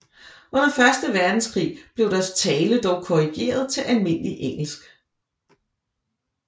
Under første verdenskrig blev deres tale dog korrigert til almindeligt engelsk